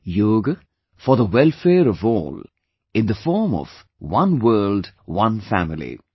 Yoga for the welfare of all in the form of 'One WorldOne Family'